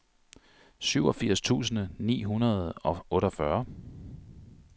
syvogfirs tusind ni hundrede og otteogfyrre